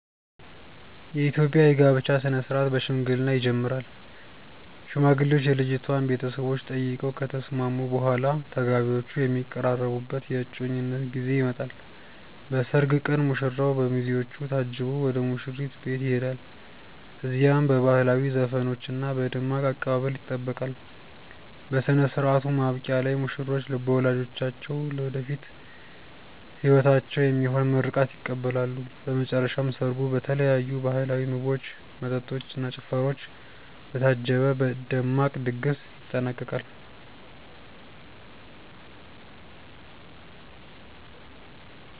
የኢትዮጵያ የጋብቻ ሥነ ሥርዓት በሽምግልና ይጀምራል። ሽማግሌዎች የልጅቷን ቤተሰቦች ጠይቀው ከተስማሙ በኋላ፣ ተጋቢዎቹ የሚቀራረቡበት የእጮኝነት ጊዜ ይመጣል። በሰርግ ቀን ሙሽራው በሚዜዎቹ ታጅቦ ወደ ሙሽሪት ቤት ይሄዳል። እዚያም በባህላዊ ዘፈኖችና በደማቅ አቀባበል ይጠበቃል። በሥነ ሥርዓቱ ማብቂያ ላይ ሙሽሮች በወላጆቻቸው ለወደፊት ሕይወታቸው የሚሆን ምርቃት ይቀበላሉ። በመጨረሻም ሰርጉ በተለያዩ ባህላዊ ምግቦች፣ መጠጦች እና ጭፈራዎች በታጀበ ደማቅ ድግስ ይጠናቀቃል።